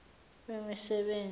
wemisebenzi